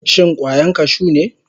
Shin kwayan kashu ne?